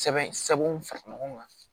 Sɛbɛn sɛbɛnw fara ɲɔgɔn kan